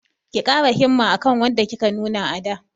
Ki ƙara himma akan wadda kika nuna a da!